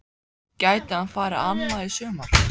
Gæti hann farið annað í sumar?